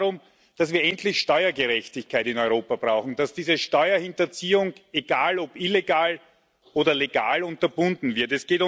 Es geht darum, dass wir endlich Steuergerechtigkeit in Europa brauchen, dass diese Steuerhinterziehung, egal ob illegal oder legal, unterbunden wird.